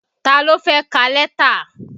Ta ló fẹ́ ka lẹ́tà?